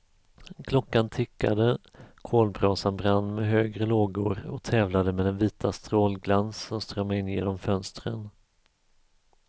Klockan tickade, kolbrasan brann med högre lågor och tävlade med den vita strålglans som strömmade in genom fönstren.